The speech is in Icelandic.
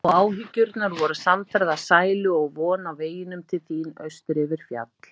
Og Áhyggjurnar voru samferða sælu og von á veginum til þín austur yfir fjall.